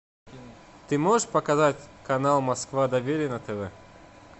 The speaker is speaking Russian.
ты можешь показать канал москва доверие на тв